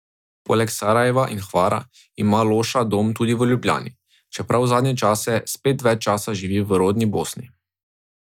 Poleg Sarajeva in Hvara ima Loša dom tudi v Ljubljani, čeprav zadnje čase spet več čas živi v rodni Bosni.